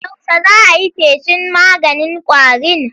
Yaushe za a yi feshin maganin ƙwarin?